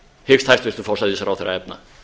hyggst hæstvirtur forsætisráðherra efna